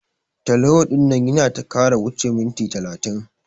Teleho ɗinnan yana ta kara wuche minti talatin ko.